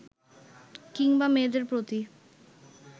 কিংবা মেয়েদের প্রতি